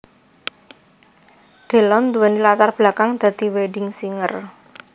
Delon nduwéni latar belakang dadi wedding singer